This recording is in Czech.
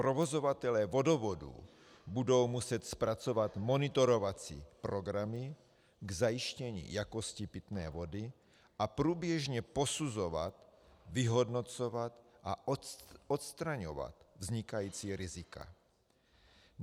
Provozovatelé vodovodů budou muset zpracovat monitorovací programy k zajištění jakosti pitné vody a průběžně posuzovat, vyhodnocovat a odstraňovat vznikající rizika.